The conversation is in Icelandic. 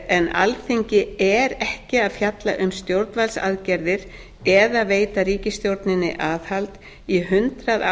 en alþingi er ekki að fjalla um stjórnvaldsaðgerðir eða veita ríkistjórninni aðhald í hundrað